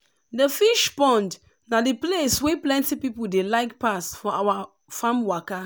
the fish pond na the place wey plenty people dey like pass for our farm waka.